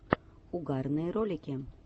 угарные ролики